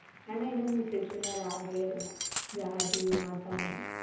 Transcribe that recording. ഞാൻ അതിലൊന്നും വിശ്വസിക്കുന്ന ഒരാളെ അല്ല. ജാതി മതം